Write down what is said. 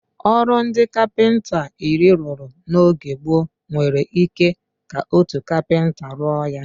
Ọrụ ndị kapịnta iri rụrụ n'oge gboo, nwere ike ka otu kapịnta rụọ ya.